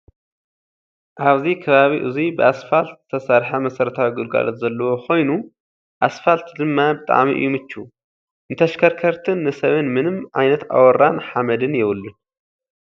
ኣብዚ ከባቢ እዙይ ብኣስፋልት ዝተሰርሐ መሰረታዊ ግልጋሎት ዘለዎ ኮይኑ፤ ኣስፋል ድማ ብጣዕሚ እዩ ምችው እዩ። ንተሽከርከርትን፣ ንሰብን ምንም ዓይነት ኣቦራን ሓመድን የብሉን።